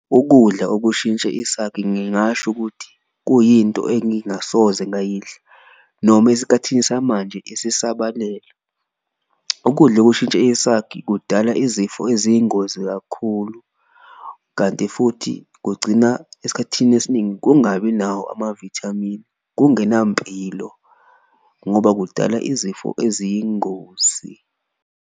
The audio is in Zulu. Ukudla okushintshe isakhi ngingasho ukuthi kuyinto engingasoze ngayidla noma esikathini samanje isisabalele, ukudla okushintshe esakhi kudala izifo eziyingozi ukuze kakhulu, kanti futhi kugcina esikhathini esiningi kungabi nawo amavithamini. Kungenampilo ngoba kudala izifo eziyingozi.